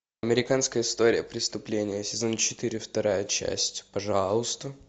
американская история преступления сезон четыре вторая часть пожалуйста